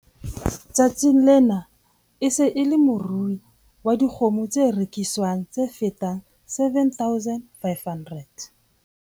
Tsatsing lena e se e le morui wa dikgoho tse reki swang tse fetang 7 500.